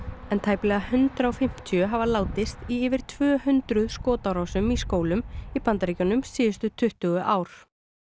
en tæplega hundrað og fimmtíu hafa látist í yfir tvö hundruð skotárásum í skólum í Bandaríkjunum síðustu tuttugu ár